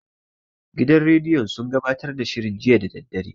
Gidan rediyon sun gabatar da shirin jiya da daddare.